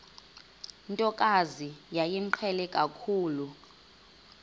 ntokazi yayimqhele kakhulu